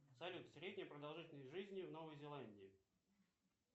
салют средняя продолжительность жизни в новой зеландии